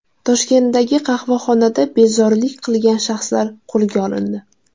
Toshkentdagi qahvaxonada bezorilik qilgan shaxslar qo‘lga olindi.